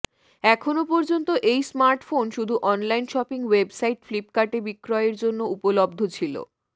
এখনো পর্যন্ত এই স্মার্টফোন শুধু অনলাইন শপিং ওয়েবসাইট ফ্লিপ্কার্টে বিক্রয়ের জন্য উপলব্ধ ছিল